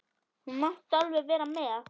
Þú mátt alveg vera með.